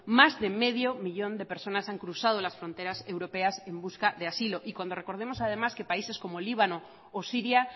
más de medio millón de personas han cruzado las fronteras europeas en busca de asilo y cuando recordemos además que países como líbano o siria